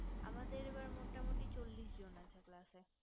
আমাদের এবার মোটা মোটি চল্লিশ জন আছে class এ